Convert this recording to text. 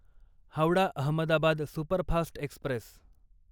Howrah Ahmedabad superfast Express